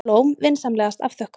Blóm vinsamlegast afþökkuð.